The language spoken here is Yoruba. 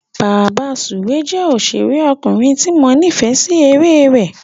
Bàbasùwé jẹ́ òṣèrékùnrin tí mo nífẹ̀é sí eré rẹ̀.